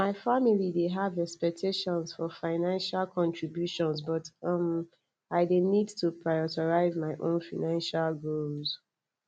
my family dey have expectations for financial contributions but um i dey need to prioritize my own financial goals